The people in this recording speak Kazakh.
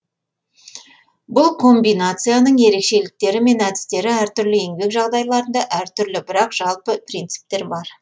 бұл комбинацияның ерекшеліктері мен әдістері әртүрлі еңбек жағдайларында әртүрлі бірақ жалпы принциптер бар